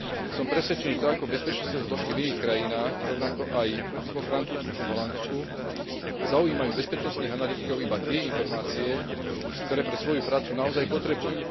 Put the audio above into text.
Som presvedčený, že tak ako bezpečnostné zložky v iných krajinách, rovnako aj vo Francúzsku či Holandsku zaujímajú bezpečnostných analytikov iba tie informácie, ktoré pre svoju prácu naozaj potrebujú.